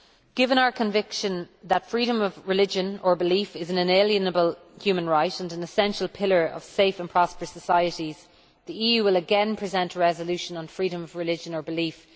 Given our conviction that freedom of religion or belief is an inalienable human right and an essential pillar of safe and prosperous societies, the EU will again present a resolution on Freedom of Religion or Belief.